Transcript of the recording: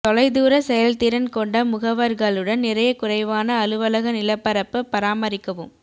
தொலைதூர செயல்திறன் கொண்ட முகவர்களுடன் நிறைய குறைவான அலுவலக நிலப்பரப்பு பராமரிக்கவும்